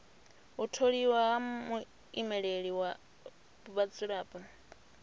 u tholiwa ha muimeleli wa vhadzulapo